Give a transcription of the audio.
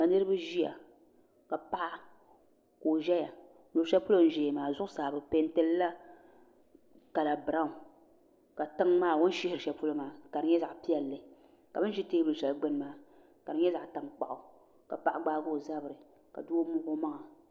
Ka niraba ʒiya ka paɣa ka o ʒɛya luɣu shɛli polo o ni ʒɛya maa zuɣusaa bi peenti lila kala biraawn ka tiŋ maa o ni shihiri shɛli polo maa ka di nyɛ zaɣ piɛlli ka bin ʒi teebuli shɛli gbuni maa ka di nyɛ zaɣ tankpaɣu ka paɣa gbaahi o zabiri ka doo wuhi o maŋa